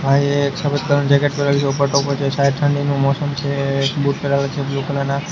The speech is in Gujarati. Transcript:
ભાઈએ એક સફેદ કલર નુ જેકેટ પેહરેલુ છે ઉપર ટોપો છે શાયદ ઠંડીનુ મૌસમ છે બૂટ પેહરાવેલા છે બ્લુ કલર ના.